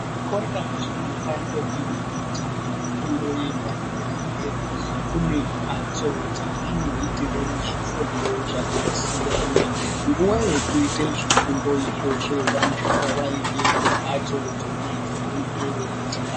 Zvikora zvinopa ntombi nemajaha fundo yepadera dera kunempatso dzevanoitira zvifundo zvakasiyana. Nguwa yekufunda izvozvo vanobva vaende kumpatso dzona dzevanenge veyiitira